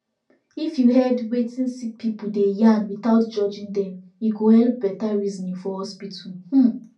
if you head wetin sick person deg yarn without judging dem e go helep better reasoning for hospital um